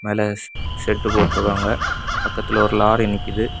மேல ஷெட்டு போட்டுருக்காங்க பக்கத்துல ஒரு லாரி நிக்குது.